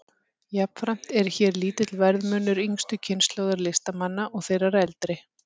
Jafnframt er hér lítill verðmunur yngstu kynslóðar listamanna og þeirrar eldri.